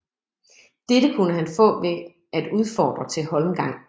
Dette kunne han få ved at udfordre til holmgang